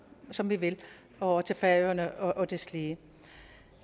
som vi vil og til færøerne og deslige